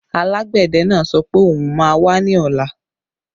Alágbẹ̀dẹ náà sọ pé òun má wá ní ọ̀la